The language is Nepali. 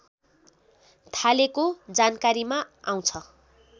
थालेको जानकारीमा आउँछ